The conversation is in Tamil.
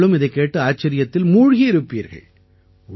நீங்களும் இதைக் கேட்டு வியப்பில் மூழ்கி இருப்பீர்கள்